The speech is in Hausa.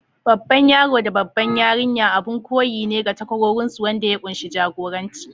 Babban yaro da babbar yarinya abin koyi ne ga takwarorinsu, wanda ya kunshi jagoranci.